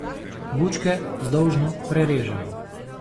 Bučke vzdolžno prerežemo.